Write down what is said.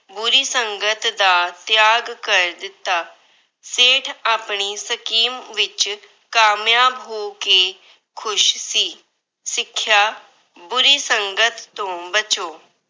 ਬੁਰੀ ਸੰਗਤ ਦਾ ਤਿਆਗ ਕਰ ਦਿੱਤਾ। ਸੇਠ ਆਪਣੀ scheme ਵਿੱਚ ਕਾਮਯਾਬ ਹੋ ਕੇ ਖੁਸ਼ ਸੀ। ਸਿੱਖਿਆ- ਬੁਰੀ ਸੰਗਤ ਤੋਂ ਬਚੋ।